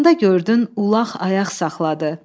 Onda gördün ulaq ayaq saxladı.